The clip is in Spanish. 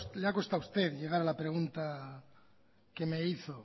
le ha costado a usted llegar a la pregunta que me hizo